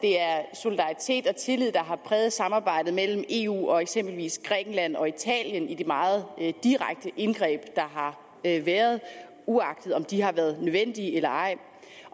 solidaritet og tillid der har præget samarbejde mellem eu og eksempelvis grækenland og italien i de meget direkte indgreb der har været uagtet om de har været nødvendige eller ej